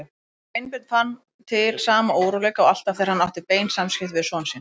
Sveinbjörn fann til sama óróleika og alltaf þegar hann átti bein samskipti við son sinn.